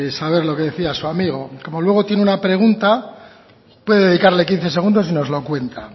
saber lo que decía su amigo como luego tiene una pregunta puede dedicarle quince segundos y nos lo cuenta